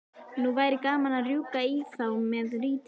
Nú væri gaman að rjúka í þá með rýtinginn.